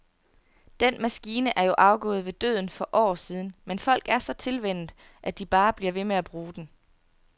Den maskine er jo afgået ved døden for år siden, men folk er så tilvænnet, at de bare bliver ved med at bruge den.